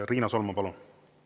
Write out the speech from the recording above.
Riina Solman, palun!